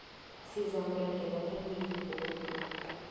sizakuragela phambili godu